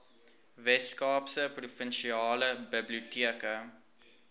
weskaapse provinsiale biblioteke